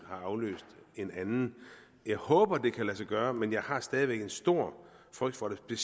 har afløst en anden jeg håber at det kan lade sig gøre men jeg har stadig væk en stor frygt for det